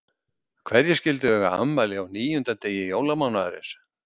Hverjir skyldu eiga afmæli á níunda degi jólamánaðarins.